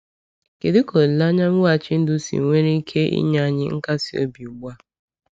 Kedu ka olileanya mweghachi ndụ si nwere ike inye anyị nkasi obi ugbu a?